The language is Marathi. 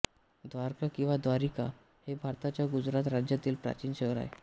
द्वारका किंवा द्वारिका हे भारताच्या गुजरात राज्यातील प्राचीन शहर आहे